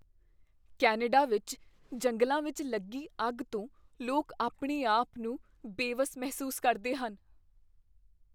Canada ਵਿੱਚ ਜੰਗਲਾਂ ਵਿੱਚ ਲੱਗੀ ਅੱਗ ਤੋਂ ਲੋਕ ਆਪਣੇ ਆਪ ਨੂੰ ਬੇਵੱਸ ਮਹਿਸੂਸ ਕਰਦੇ ਹਨ।